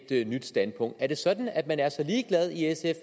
et nyt standpunkt er det sådan at man er så ligeglad i sf